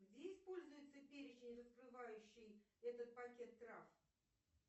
где используется перечень раскрывающий этот пакет трав